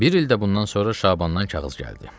Bir il də bundan sonra Şabandan kağız gəldi.